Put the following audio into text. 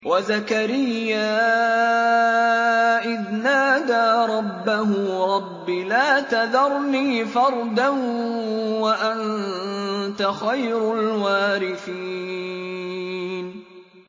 وَزَكَرِيَّا إِذْ نَادَىٰ رَبَّهُ رَبِّ لَا تَذَرْنِي فَرْدًا وَأَنتَ خَيْرُ الْوَارِثِينَ